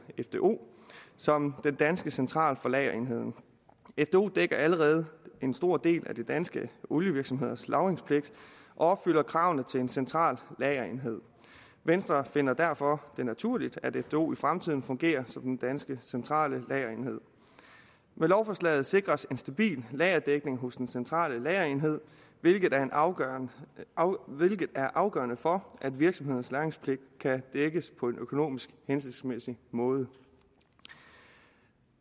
fdo som den danske central for lagerenheden fdo dækker allerede en stor del af de danske olievirksomheders lagringspligt og opfylder kravene til en central lagerenhed venstre finder det derfor naturligt at fdo i fremtiden fungerer som den danske centrale lagerenhed med lovforslaget sikres en stabil lagerdækning hos den centrale lagerenhed hvilket er afgørende er afgørende for at virksomhedernes lagringspligt kan dækkes på en økonomisk hensigtsmæssig måde